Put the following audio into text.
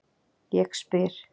Ég spyr